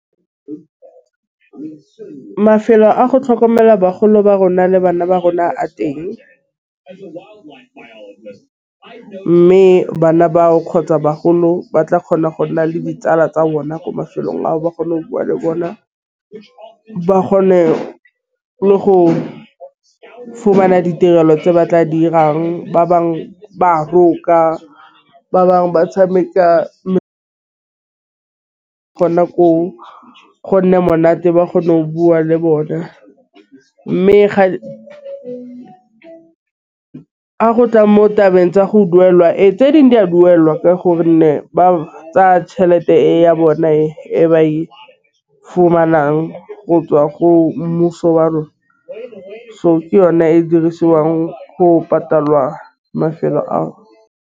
Mafelo a go tlhokomela bagolo ba rona le bana ba rona a teng, mme bana bao kgotsa bagolo ba tla kgona go nna le ditsala tsa bona ko mafelong ao le bona ba kgone le go fumana ditirelo tse ba tla dirang. Ba bangwe ba roka ba bangwe ba tšhameka kgona ko go nne monate ba kgone go bua le bona, mme ga go tla mo tlabeng tsa go duelwa. Ee tse dingwe di a duelwa ka gonne ba tsaya tšhelete ya bone e ba e fumanang go tswa go mmuso wa rona. So, ke yone e dirisiwang go patala mafelo ao.